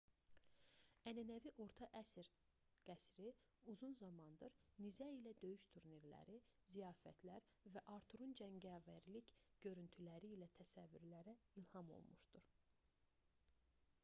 ənənəvi orta əsr qəsri uzun zamandır nizə ilə döyüş turnirləri ziyafətlər və arturun cəngavərlik görüntüləri ilə təsəvvürlərə ilham olmuşdur